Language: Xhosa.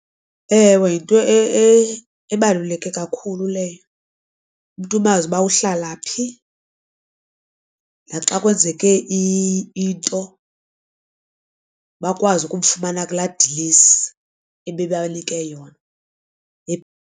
Ewe, yinto ebaluleke kakhulu leyo umntu umazi uba uhlala phi naxa kwenzeke into bakwazi ukumfumana kulaa dilesi ebebanika yona.